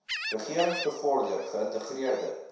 regerings bevorder geïntegreerde